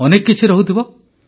ଅନେକ କିଛି ରହୁଥିବ